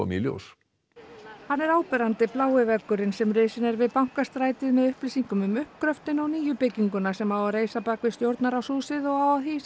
í ljós hann er áberandi blái veggurinn sem risinn er við Bankastrætið með upplýsingum um uppgröftinn og nýju bygginguna sem á að reisa bak við Stjórnarráðshúsið og á að hýsa